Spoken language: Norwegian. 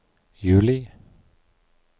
juli